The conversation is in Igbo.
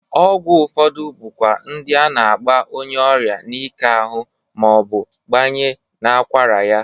Ọgwụ ụfọdụ bụkwa ndị a na-agba onyeọrịa n'ike ahụ ma ọ bụ gbanye n'akwara ya.